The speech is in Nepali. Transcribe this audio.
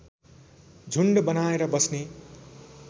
झुण्ड बनाएर बस्ने